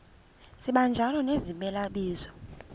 sibanjalo nezimela bizo